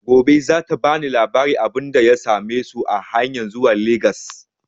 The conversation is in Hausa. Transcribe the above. Gobe za ta bani labarin abunda ya same su a hanyan zuwa Legas